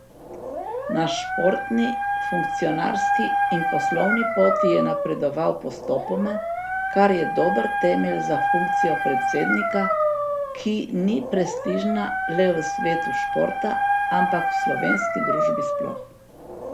Na športni, funkcionarski in poslovni poti je napredoval postopoma, kar je dober temelj za funkcijo predsednika, ki ni prestižna le v svetu športa, ampak v slovenski družbi sploh.